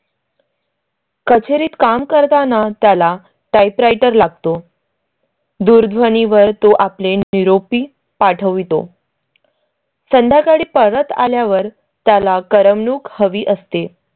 कचेरीत काम करताना त्याला type writer लागतो. दूरध्वनी वर तो आपले निरोपी पाठवितो. संध्याकाळी परत आल्यावर त्याला करमणूक हवी असते.